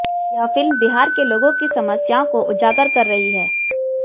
यह फिल्म बिहार के लोगों की समस्याओं को उजागर कर रही है